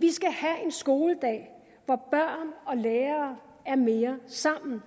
vi skal have en skoledag hvor børn og lærere er mere sammen